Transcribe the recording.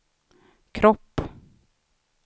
kropp